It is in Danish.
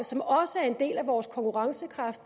som også er en del af vores konkurrencekraft